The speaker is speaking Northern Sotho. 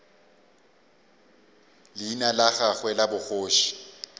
leina la gagwe la bogoši